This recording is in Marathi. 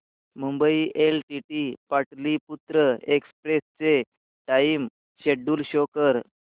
मुंबई एलटीटी पाटलिपुत्र एक्सप्रेस चे टाइम शेड्यूल शो कर